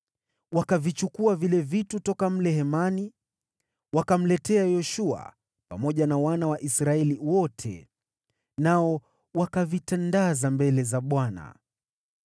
Wakavichukua vile vitu toka mle hemani, wakamletea Yoshua pamoja na Waisraeli wote, na wakavitandaza mbele za Bwana .